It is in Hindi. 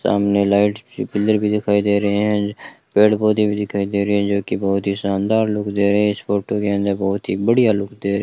सामने लाइट के पिलर भी दिखाई दे रहे हैं पेड़ पौधे भी दिखाई दे रही है जोकि बहोत ही शानदार लुक दे रहे हैं इस फोटो के अंदर बहोत ही बढ़िया लुक दे रहे --